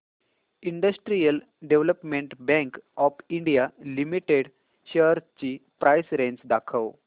industrial development bank of India limited shares ची price range दाखव